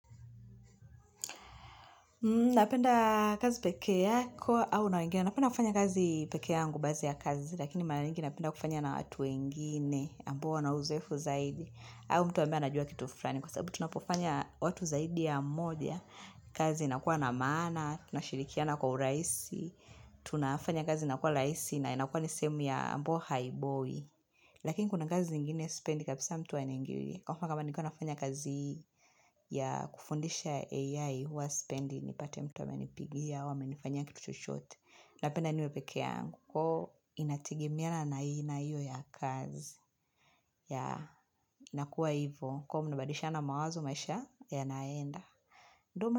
Napenda kazi peke yako au na wangine? Napenda kufanya kazi peke yangu baadhi ya kazi lakini mara nyingi napenda kufanya na watu wengine ambao wana uzoefu zaidi au mtu ambae anajua kitu fulani kwa sababu tunapofanya watu zaidi ya mmoja kazi inakuwa na maana tunashirikiana kwa urahisi tunafanya kazi inakuwa rahisi na inakuwa ni sehemu ambayo haibowi. Lakini kuna kazi zingine spendi kapisa mtu aniingilie, kwa mfano kama nikiwa nafanya kazi ya kufundisha AI huwa sipendi nipate mtu amenipigia amenifanya kitu chochote, napenda niwe peke yangu. Ko inategemeana aina hiyo ya kazi. Inakuwa hivo kuwa mnabadilisha na mawazo maisha yanaenda.